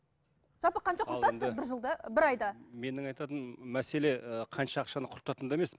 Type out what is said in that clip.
жалпы қанша құртасыздар бір жылда бір айда менің айтатыным мәселе ы қанша ақшаны құртатында емес